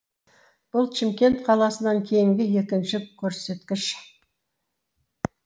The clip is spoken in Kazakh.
бұл чимкент қаласынан кейінгі екінші көрсеткіш